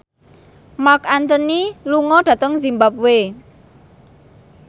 Marc Anthony lunga dhateng zimbabwe